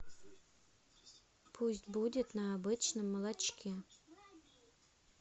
пусть будет на обычном молочке